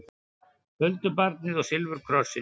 Huldubarnið og silfurkrossinn